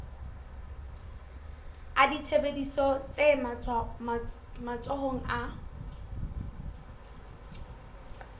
a ditsebiso tse matsohong a